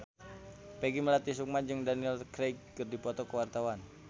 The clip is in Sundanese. Peggy Melati Sukma jeung Daniel Craig keur dipoto ku wartawan